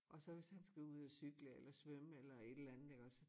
Og så hvis han skal ud og cykle eller svømme eller et eller andet iggås